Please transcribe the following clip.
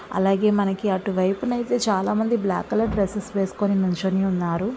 అలాగే మనకి అటు వైపు నైతే చాలా మంది బ్లాకు కలర్ డ్రెస్సెస్ వేస్కొని నించొని ఉన్నారు.